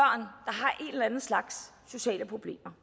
en eller anden slags sociale problemer